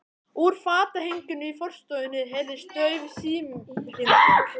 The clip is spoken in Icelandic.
Úr fatahenginu í forstofunni heyrðist dauf símhringing.